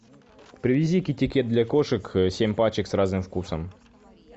привези китти кет для кошек семь пачек с разным вкусом